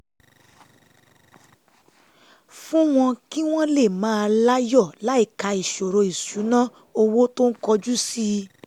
fún wọn kí wọ́n lè máa láyọ̀ láìka ìṣòro ìṣúnná owó tó ń kojú sí